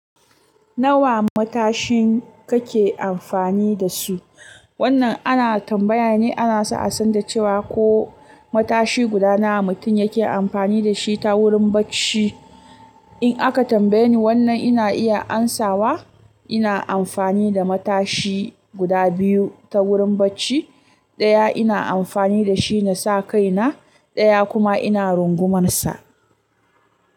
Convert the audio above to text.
Nawa matashin kake amfani da su? Wannan ana tambaya ne ana so a san da cewa ko matashi guda nawa mutum yake amfani da shi ta wurin bacci. In aka tambaye ni wannan ina iya amsawa. Ina amfani da matashi guda biyu ta wurin bacci. Ɗaya ina amfani da shi na sa kai na, ɗaya kuma ina rungumansa.